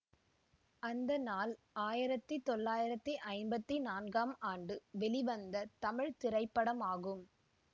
அந்த நாள் ஆயிரத்தி தொள்ளாயிரத்தி ஐம்பத்தி நான்காம் ஆண்டு வெளிவந்த தமிழ் திரைப்படமாகும்